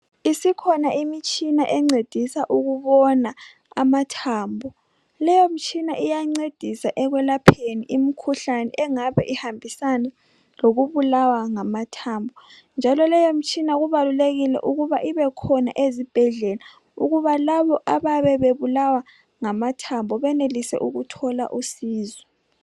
Isikhona imitshina encedisa ukubona amathambo .Leyo mitshina iyancedisa ekwelapheni imkhuhlane engabe ihambisana lokubulawa ngamathambo njalo leyo mitshina kubalulekile ukuba ibekhona ezibhedlela ukuba labo abayabe bebulawa ngamathambo benelise ukuthola usizo.